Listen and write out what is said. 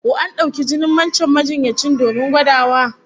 Ko an dauki jinin wancan majinyacin domin gwadawa?